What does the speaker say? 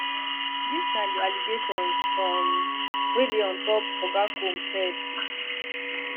dis na di allegations um wey dey on top oga combs head